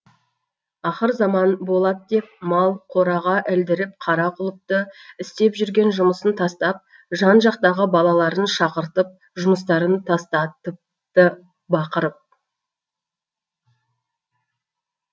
ақырзаман болад деп мал қораға ілдіріп қара құлыпты істеп жүрген жұмысын тастап жан жақтағы балаларын шақыртып жұмыстарын тастатыпты бақырып